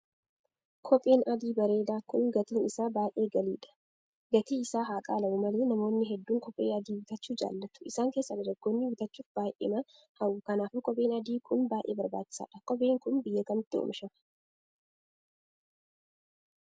Kopheen adii bareedaa kun gatiin isaa baay'ee galiidha. gatii isaa haa qaala'u malee namoonni hedduun kophee adii bitachuu jaallattu isaan keessa dargaggoonni bitachuuf baay'eema hawwu kanaafuu kopheen adii kun baay'ee barbaachisaadha. kopheen kun biyya kamitti oomishamee?